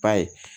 Ba ye